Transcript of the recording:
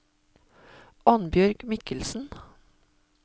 Annbjørg Mikkelsen